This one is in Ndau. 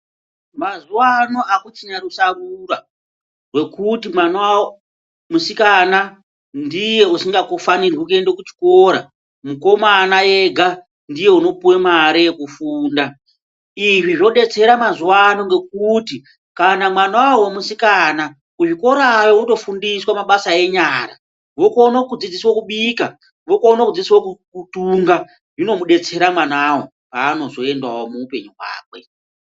Mazuwano hakuchina rusarura rwekuti mwana musikana ndiye usingafanirwi kuende kuchikora, mukomana ega ndiye unopuwe mare yekufunda. Izvi zvodetsera mazuwano ngekuti kana mwanawo musikana, kuzvikorayo votofundiswa mabasa enyara, vokono kudzidziswo kubika, vokono kudzidziswa kutunga. ZvInomudetsera mwanawo, paanozoendawo muupenyu hwakwe.